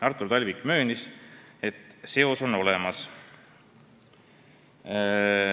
Artur Talvik möönis, et mõju on olemas.